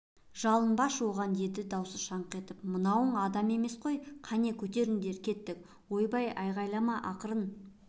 жалынбашы осыған деді дауысы шаңқ етіп мынауың адам емес қой кәне көтеріңдер кеттік ойбай айғайлама ақырын